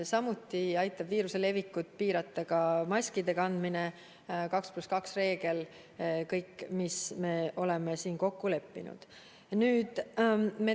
Samuti aitab viiruse levikut piirata ka maski kandmine, 2 + 2 reegel ja kõik see, mis me oleme kokku leppinud.